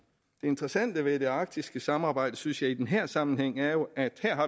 interessante ved det arktiske samarbejde synes jeg i den her sammenhæng er jo at